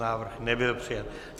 Návrh nebyl přijat.